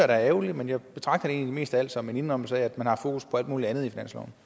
da er ærgerligt men jeg betragter det egentlig mest af alt som en indrømmelse af at man har haft fokus på alt muligt andet